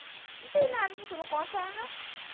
Não tem nada para você me contar, não?